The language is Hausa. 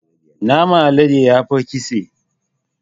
Naman alade yafi ƙitse.